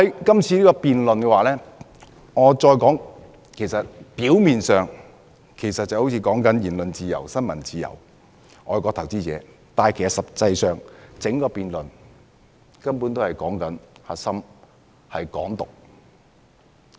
今次辯論表面上涉及言論自由、新聞自由及外國投資者，但實際上，整個辯論的核心是"港獨"。